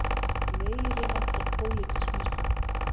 Meiriháttar pólitísk mistök